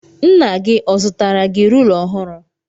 Nna gi ọ zụtara gi rula ọhụrụ?